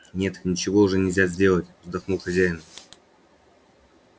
нет ничего уже нельзя сделать вздохнул хозяин